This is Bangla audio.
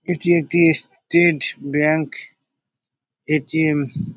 এটি একটি স্টেড ব্যাংক এ.টি.এম. ।]